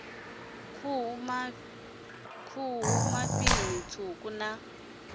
khuhu mafhi ṋama tswuku na